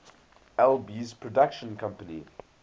alby's production company